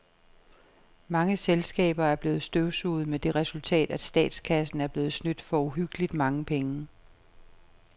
Mange selskaber er blevet støvsuget med det resultat, at statskassen er blevet snydt for uhyggeligt mange penge.